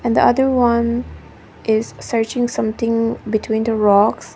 and the other one is searching something between the rocks.